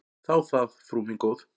Þá það, frú mín góð.